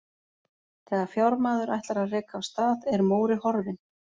Þegar fjármaður ætlar að reka af stað, er Móri horfinn.